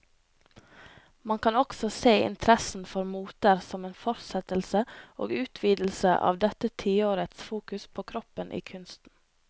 Man kan også se interessen for moter som en fortsettelse og utvidelse av dette tiårets fokus på kroppen i kunsten.